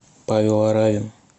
павел аравин